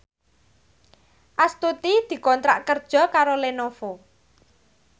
Astuti dikontrak kerja karo Lenovo